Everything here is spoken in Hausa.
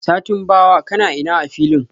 satin bawa, kanaina a filin?